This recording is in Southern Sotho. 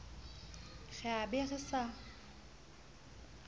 re a be re sa